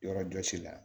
Yɔrɔjɔsi la